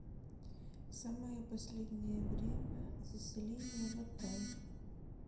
самое последнее время заселения в отель